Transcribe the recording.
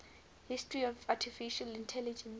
history of artificial intelligence